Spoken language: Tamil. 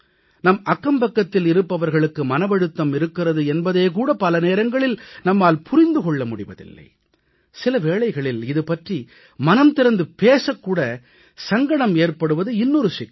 நம் அக்கம்பக்கத்தில் இருப்பவர்களுக்கு மனவழுத்தம் இருக்கிறது என்பதே கூட பல நேரங்களில் நம்மால் புரிந்து கொள்ள முடிவதில்லை சில வேளைகளில் இது பற்றி மனம் திறந்து பேசக் கூட சங்கடம் ஏற்படுவது இன்னொரு சிக்கல்